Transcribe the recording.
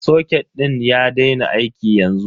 Soket din ya daina aiki yanzu.